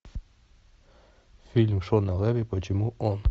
фильм шона леви почему он